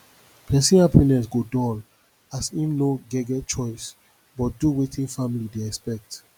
pesin hapiness go dull as im no get get choice but do wetin family dey expect